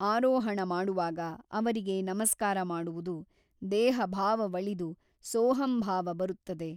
ಆರೊಹಣ ಮಾಡುವಾಗ ಅವರಿಗೆ ನಮಸ್ಕಾರ ಮಾಡುವುದು ದೇಹಭಾವವಳಿದು ಸೋಹಂಭಾವ ಬರುತ್ತದೆ.